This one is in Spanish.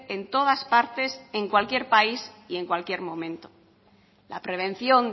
en todas partes en cualquier país y en cualquier momento la prevención